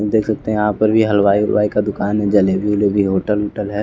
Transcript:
देख सकते हैं यहां पर भी हलवाई वलवाई का दुकान है जलेबी वलेबी होटल वोटल है।